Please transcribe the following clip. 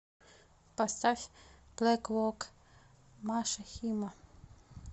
поставь блэквок маша хима